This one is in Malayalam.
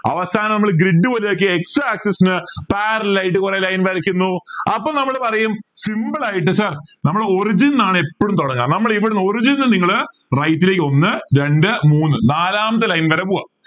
അവസാനം നമ്മള് grid വലുതാക്കി x axis ന് parallel ആയിട്ട് കുറെ line വരയ്ക്കുന്നു അപ്പോ നമ്മൾ പറയും simple ആയിട്ട് sir നമ്മളെ origin ആണ് എപ്പോഴും തുടങ്ങാം നമ്മൾ ഇവിടുന്ന് origin ന്ന് നിങ്ങള് right ലേക്ക് ഒന്ന് രണ്ട് മൂന്ന് നാലാമത്തെ line വരെ പോകാം